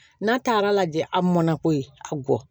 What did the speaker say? N'a taar'a lajɛ a mɔnna ko ye a gɔ